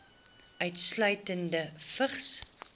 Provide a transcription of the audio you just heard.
insluitende vigs